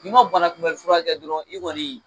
N'i ma banakunbɛnli fura kɛ dɔrɔnw i yɛrɛ kɔni